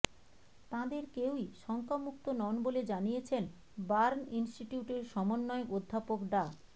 তাঁদের কেউই শঙ্কামুক্ত নন বলে জানিয়েছেন বার্ন ইনস্টিটিউটের সমন্বয়ক অধ্যাপক ডা